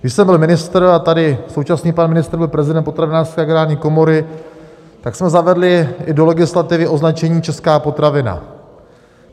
Když jsem byl ministr a tady současný pan ministr byl prezident Potravinářské agrární komory, tak jsme zavedli i do legislativy označení Česká potravina.